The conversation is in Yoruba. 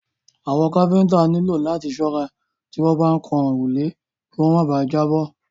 Àwọn káfíńńtà nílò láti ṣọ́ra tí wọ́n bá ń kan òrùlé kí wọ́n má bà à jábọ́.